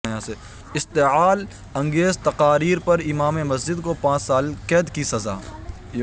اشتعال انگیز تقاریر پر امام مسجد کو پانچ سال قید کی سزا